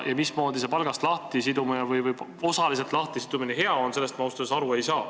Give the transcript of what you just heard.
Ja mismoodi see palgast osaliselt lahtisidumine hea on, sellest ma ausalt öeldes aru ei saa.